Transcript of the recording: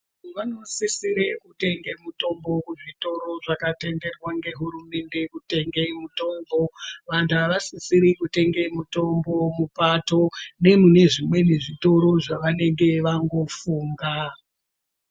Vantu vanosisire kutenge mitombo kuzvitoro zvakatenderwa ngehurumende kutengesa mitombo. Vantu avasisiri kutenge mitombo mupato nemunezvimweni zvitoro zvevanenge vangofunga.